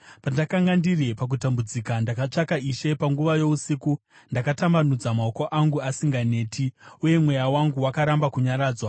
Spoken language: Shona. Pandakanga ndiri pakutambudzika, ndakatsvaka Ishe; panguva yousiku ndakatambanudza maoko angu asinganeti, uye mweya wangu wakaramba kunyaradzwa.